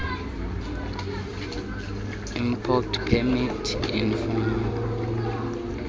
import permit ineemfuno